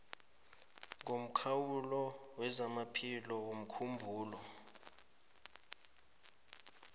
ngomkhawulo wezamaphilo womkhumbulo